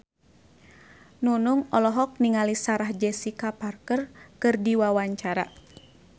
Nunung olohok ningali Sarah Jessica Parker keur diwawancara